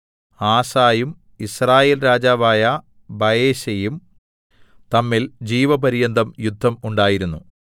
ആസയും യിസ്രായേൽ രാജാവായ ബയെശയും തമ്മിൽ ജീവപര്യന്തം യുദ്ധം ഉണ്ടായിരുന്നു